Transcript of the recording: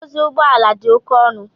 Idozi ugbọala di oke ọnu.